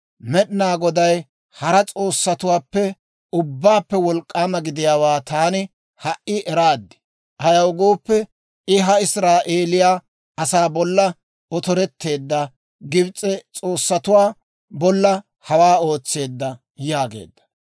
Med'inaa Goday hara s'oossatuwaappe ubbaappe wolk'k'aama gidiyaawaa taani ha"i eraad; ayaw gooppe, I ha Israa'eeliyaa asaa bolla oteretteedda Gibs'e s'oossatuwaa bolla hawaa ootseedda» yaageedda.